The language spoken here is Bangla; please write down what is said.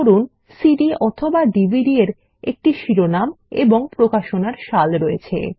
ধরুন সিডি অথবা DVD এর একটি শিরোনাম এবং প্রকাশনার সাল রয়েছে